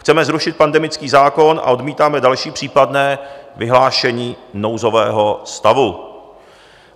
Chceme zrušit pandemický zákon a odmítáme další případné vyhlášení nouzového stavu.